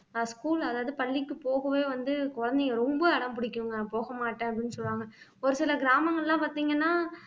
ஆஹ் school அதாவது பள்ளிக்கு போகவே வந்து குழந்தைங்க ரொம்ப அடம்பிடிக்கும்ங்க போக மாட்டேன் அப்படின்னு சொல்லுவாங்க ஒரு சில கிராமங்கள்லாம் பாத்தீங்கன்னா